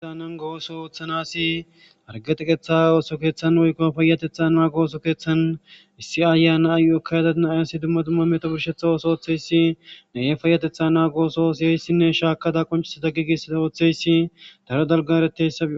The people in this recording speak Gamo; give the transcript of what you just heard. aananga ooso ooththanasi argeteqetha ooso keeththan woykko fayatethan maago ooso keeththan issi ayana ayu7ekkayadanayasi dumma dumma meto burshetha ooso ooththeyssi naye fayatetha naagooso siyeyssinne shaakada qoncisata giigisida ooththeyssi daro dalgareteyssaii